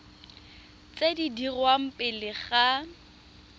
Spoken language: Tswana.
tse di dirwang pele ga